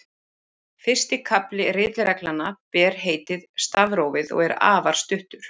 Fyrsti kafli ritreglnanna ber heitið Stafrófið og er afar stuttur.